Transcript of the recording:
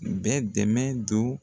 Bɛ dɛmɛ don